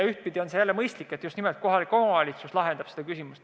Ühtpidi on see mõistlik, et just nimelt kohalik omavalitsus lahendab neid küsimusi.